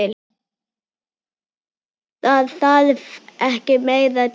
Það þarf ekki meira til.